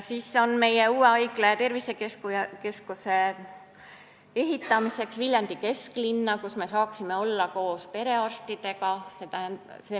Siis on meie uue haigla ja tervisekeskuse ehitamine Viljandi kesklinna, kus me saaksime olla koos perearstidega.